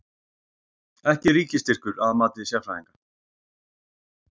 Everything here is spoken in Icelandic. Ekki ríkisstyrkur að mati sérfræðinga